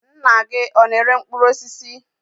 Nna gị ọ na-ere mkpụrụ osisi?